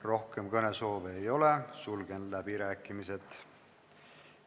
Rohkem kõnesoove ei ole, sulgen läbirääkimised.